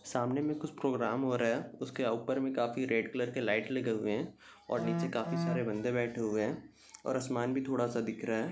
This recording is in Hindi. सामने कुछ प्रोग्राम हो रहा है उसके ऊपर में काफी रेड कलर के लाइट लगे हुए है और नीचे बन्दे बैठे हुए है और आसमान भी थोड़ा दिख रहा है।